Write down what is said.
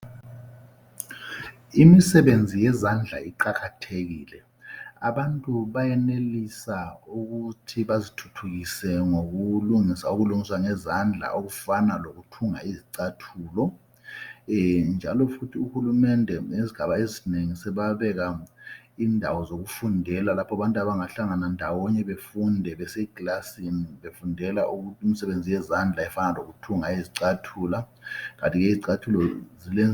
Imisebenzi yezandla iqakathekile abantu bayenelisa ukuthi bazithuthukise ngokulungisa okulungiswa ngezandla okufana lokuthunga izicathulo. Njalo futhi uhulumende ngezigaba ezinengi sebabeka indawo zokufundela lapho abantu abangahlangana ndawonye befunde bekilasini befundela imisebenzi yezandla efana lokuthunga izicathulo. Kanti ke izicathulo..